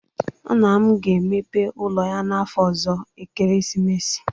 Nna m ga-emepe ụlọ ya n'afọ ọzọ ekeresimesi